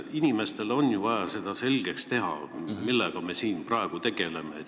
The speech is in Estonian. Inimestele on ju vaja selgeks teha, millega me siin praegu tegeleme.